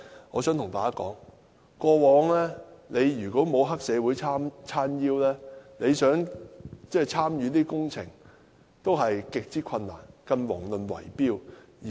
我想告訴大家，過往如果沒有黑社會"撐腰"，想參與工程也極之困難，更遑論圍標。